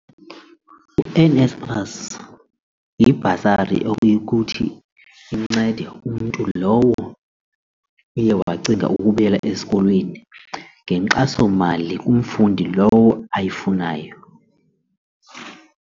U-NSFAS yibhasari okuya ukuthi incede umntu lowo uye wacinga ukubuyela esikolweni ngenkxasomali kumfundi lowo ayifunayo.